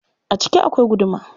A ciki akwai guduma.